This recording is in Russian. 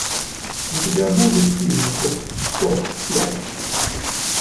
у тебя будет фильм топ пять